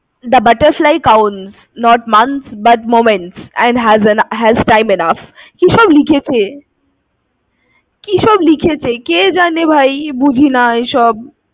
The butterfly counts not months but moments, and has an~ has time enough কিসব লিখেছে। কিসব লিখেছে, কে জানে ভাই, বুঝিনা এসব।